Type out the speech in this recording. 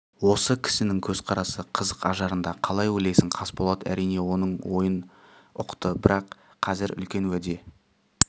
осы кісінің көзқарасы қызық ажарында қалай ойлайсың қасболат әрине оның ойын ұқты бірақ қазір үлкен уәде